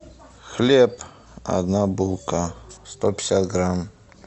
хлеб одна булка сто пятьдесят грамм